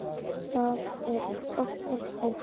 Það er okkar ósk.